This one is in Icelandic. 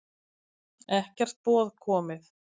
Ekkert boð komið